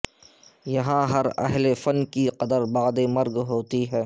یہاں ہر اہل فن کی قدر بعد مرگ ہوتی ہے